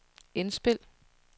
indspil